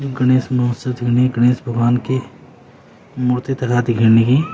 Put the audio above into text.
गणेश महोत्सव गणेश भगवान की मूर्ति तरह दिख्याण की।